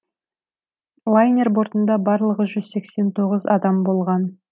лайнер бортында барлығы жүз сексен тоғыз адам болған